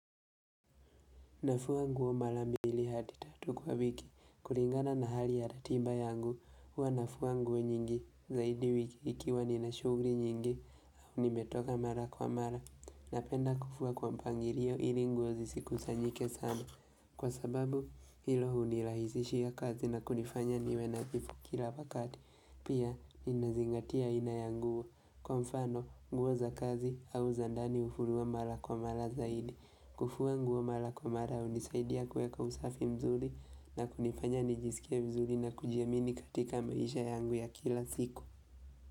Nafuwa nguo mara mbili hati tatu kwa wiki, kulingana na hali ya ratiba yangu, hua nafuwa nguo nyingi, zaidi wiki ikiwa nina shugri nyingi, au nimetoka mara kwa mara, na penda kufua kwa mpangirio ili nguo zisikusa njllsama, kwa sababu ilo hunilahizishia kazi na kudifanya niwe nagipu kila wakati, pia nina zingatia inayanguwa, kwa mfano nguo za kazi au za ndani naufua mara kwa mara zaidi, kufua kwangu wa mara kwa mara unisaidia kweka usafi mzuri na kunipanya nijisikia mzuri na kujiamini katika maisha yangu ya kila siku.